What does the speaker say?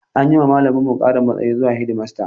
An yi wa malaminmu ƙarin matsayi zuwa shedimasta